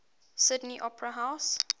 sydney opera house